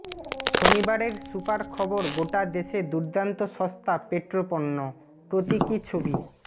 শনিবারের সুপার খবর গোটা দেশে দুর্দান্ত সস্তা পেট্রোপণ্য প্রতীকী ছবি